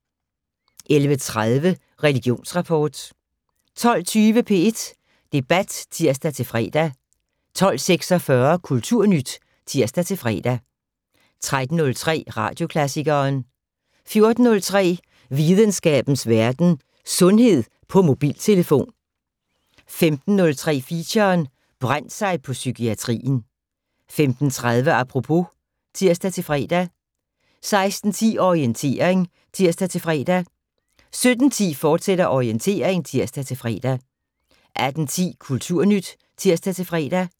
11:30: Religionsrapport 12:20: P1 Debat (tir-fre) 12:46: Kulturnyt (tir-fre) 13:03: Radioklassikeren 14:03: Videnskabens Verden: Sundhed på mobiltelefon 15:03: Feature: Brændt sig på psykiatrien 15:30: Apropos (tir-fre) 16:10: Orientering (tir-fre) 17:10: Orientering, fortsat (tir-fre) 18:10: Kulturnyt (tir-fre)